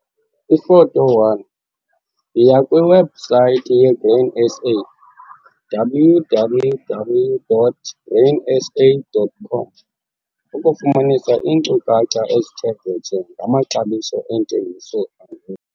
Ifoto 1- Yiya kwiwebhusayithi yeGrain SA, www.grainsa.com, ukufumanisa iinkcukacha ezithe vetshe ngamaxabiso eentengiso.